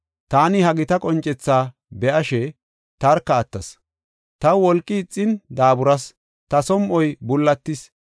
Taani ha gita qoncethaa be7ashe, tarka attas. Taw wolqi ixin daaburas; ta som7oy bullatis.